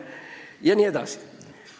Ja nii edasi.